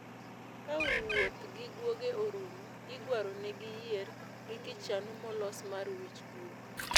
Ka wuoth gi guoge orumo, igwaro ne gi yier gi kichanu molos mar wich guok